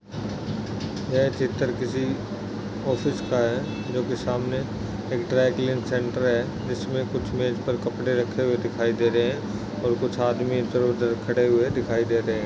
यह चित्र किसी ऑफिस का है जो कि सामने एक ड्राई क्लीन सेंटर है जिसमें कुछ मेज पर कपड़े रखे हुए दिखाई दे रहे है और कुछ आदमी इधर उधर खड़े हुए दिखाई देते है।